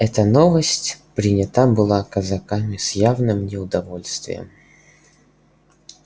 эта новость принята была казаками с явным неудовольствием